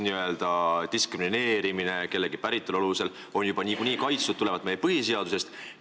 Nii-öelda diskrimineerimine päritolu alusel on juba niikuinii tulenevalt meie põhiseadusest keelatud.